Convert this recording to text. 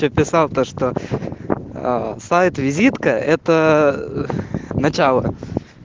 ты писал то что аа сайт-визитка это ээ начало